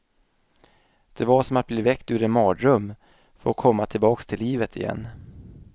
Det var som att bli väckt ur en mardröm, få komma tillbaks till livet igen.